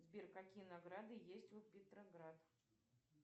сбер какие награды есть у петроград